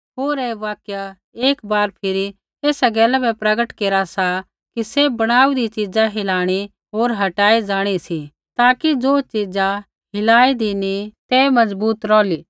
होर ऐ वाक्य एक बार फिरी एसा गैला बै प्रगट केरा सा कि सैभ बणाऊदी च़ीज़ा हिलाइणी होर हटाई जाणी सी ताकि ज़ो च़ीज़ा हिलाँइदी नी तै मज़बूत रौहली